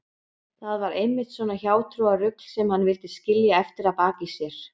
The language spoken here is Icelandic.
Það var einmitt svona hjátrúarrugl sem hann vildi skilja eftir að baki sér.